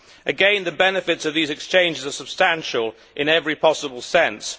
Again, the benefits of these exchanges are substantial in every possible sense.